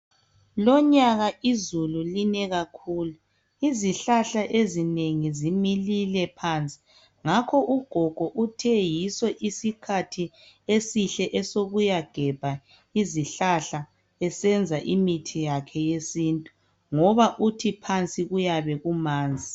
Lonyaka izulu line kakhulu. Izihlahla ezinengi zimilile phansi. Ngakho ugogo uthe yiso isikhathi esihle esokuyagebha izihlahla esenza imithi yakhe yesintu. Ngoba uthi phansi kuyabe kumanzi.